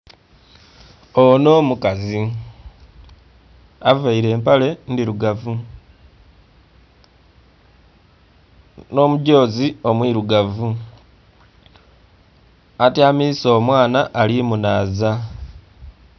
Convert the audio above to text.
Onho mukazi avaire empale ndhirugavu nho mudhozi omwirugavu, atyamisa omwaana ali munhaza.